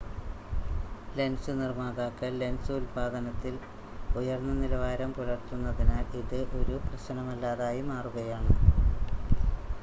lens നിർമ്മാതാക്കൾ lens ഉൽപ്പാദനത്തിൽ ഉയർന്ന നിലവാരം പുലർത്തുന്നതിനാൽ ഇത് ഒരു പ്രശ്‌നമല്ലാതായി മാറുകയാണ്